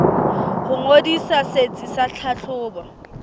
ho ngodisa setsi sa tlhahlobo